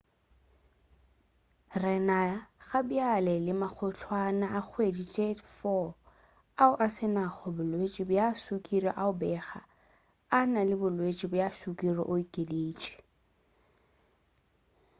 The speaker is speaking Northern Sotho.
"re na gabjale le magotlwana a kgwedi-tše-4 ao a se nago bolwetši bja sukiri ao a bego a na le bolwetši bja sukiri, o okeditše